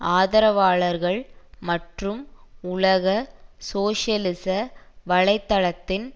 ஆதரவாளர்கள் மற்றும் உலக சோசியலிச வலை தளத்தின்